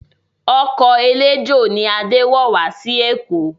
Ọkọ̀ eléjò ni Adé wọ̀ wá sí Èkó